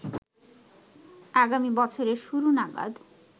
আগামী বছরের শুরু নাগাদ